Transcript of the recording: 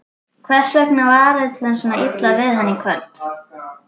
Hvers vegna var öllum svona illa við hann í kvöld?